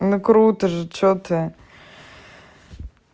ну круто же что ты